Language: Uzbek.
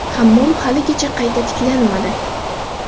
Hammom haligacha qayta tiklanmadi.